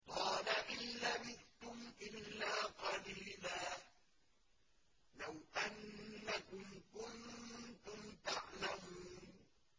قَالَ إِن لَّبِثْتُمْ إِلَّا قَلِيلًا ۖ لَّوْ أَنَّكُمْ كُنتُمْ تَعْلَمُونَ